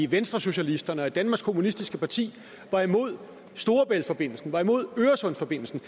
venstresocialisterne og danmarks kommunistiske parti var imod storebæltsforbindelsen var imod øresundsforbindelsen